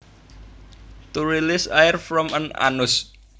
To release air from an anus